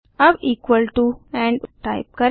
अब equal to end type करें